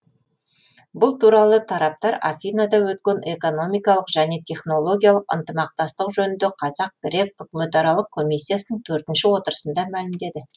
бұл туралы тараптар афинада өткен экономикалық және технологиялық ынтымақтастық жөніндегі қазақ грек үкіметаралық комиссиясының төртінші отырысында мәлімдеді